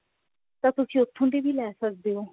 ਤਾਂ ਤੁਸੀਂ ਉੱਥੋਂ ਦੀ ਵੀ ਲੈ ਸਕਦੇ ਹੋ